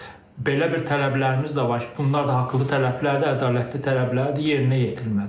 amma belə bir tələblərimiz də var ki, bunlar da haqlı tələblərdir, ədalətli tələblərdir, yerinə yetirilməlidir.